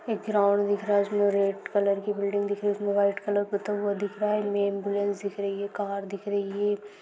एक ग्राउंड दिख रहा है रेड कलर की दिख रही है उसे व्हाइट कलर पतंग दिख रहा है न्यू अँम्बुलंस दिख रहा है कार दिख रहा ह.